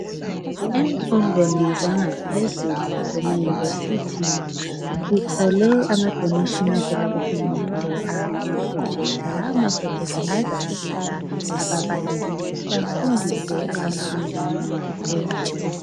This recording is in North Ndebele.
Emfundweni zangaphezulu emayunivesithi sithole amadonation avela kuhulumende awama project lama project azasiza ababalisis ukuthi bafundise abafundi ngokuphezulu.